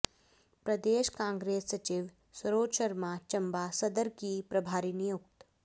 प्रदेश कांग्रेस सचिव सरोज शर्मा चंबा सदर की प्रभारी नियुक्त